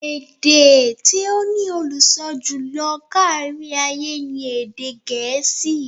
Èdè tí ó ní olùsọ jùlọ kárí-ayé ni èdè Gẹ̀ẹ́sì.